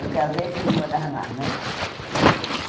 Eu casei e fui morar lá, né?